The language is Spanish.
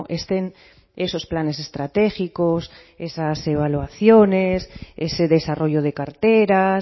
estén esos planes estratégicos esas evaluaciones ese desarrollo de carteras